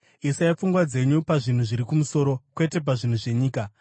Isai pfungwa dzenyu pazvinhu zviri kumusoro, kwete pazvinhu zvenyika.